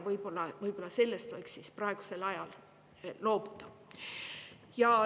Võib-olla sellest võiks praegusel ajal loobuda.